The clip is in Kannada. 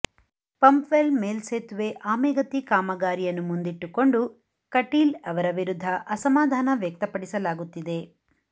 ಪಂಪ್ವೆಲ್ ಮೇಲ್ಸೇತುವೆ ಆಮೆಗತಿ ಕಾಮಗಾರಿಯನ್ನು ಮುಂದಿಟ್ಟುಕೊಂಡು ಕಟೀಲ್ ಅವರ ವಿರುದ್ಧ ಅಸಮಾಧಾನ ವ್ಯಕ್ತಪಡಿಸಲಾಗುತ್ತಿದೆ